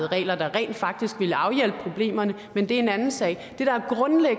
regler der rent faktisk ville afhjælpe problemerne men det er en anden sag